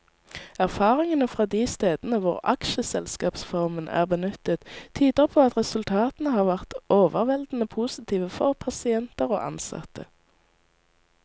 Erfaringene fra de stedene hvor aksjeselskapsformen er benyttet, tyder på at resultatene har vært overveldende positive for pasienter og ansatte.